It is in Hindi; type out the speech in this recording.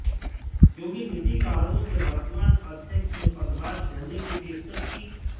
क्योंकि निजी कारणों से वर्तमान अध्यक्ष ने पदभार छोड़ने की पेशकश की